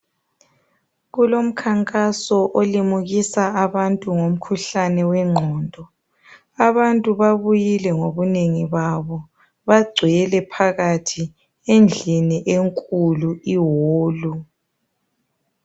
Kulomkhankaso olimukisa abantu ngomkhuhlane wengqondo abantu babuyile ngobunengi babo bagcwele phakathi endlini enkulu iholu.